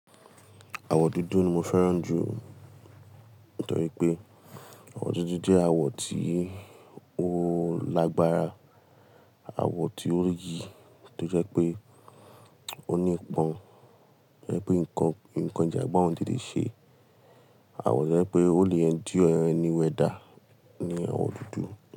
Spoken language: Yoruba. Àwọ̀ dúdú ni mo fẹ́ràn jù nítorí pé àwọ̀ dúdú jẹ́ àwọ̀ tí ó lágbára, àwọ̀ tí ó yí tó jẹ́ pé ó ní ipọn, ẹni pé nǹkan ìjàmbá òun tètè ṣe. Àwọ̀ tó jẹ́ pé ó lè endure any weather ní àwọ̀ dúdú.